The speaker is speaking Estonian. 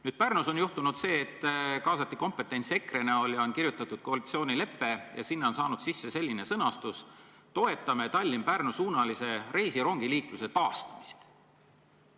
Nüüd, Pärnus on juhtunud nii, et kaasati EKRE ja kirjutati koalitsioonilepe, millesse on sisse saanud selline punkt: "Toetame Tallinna–Pärnu-suunalise reisirongiliikluse taastamist.